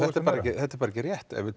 þetta er bara ekki rétt ef við